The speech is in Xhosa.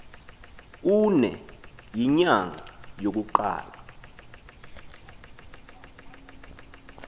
uune yinyanga yokuqala